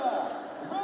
Digəşi!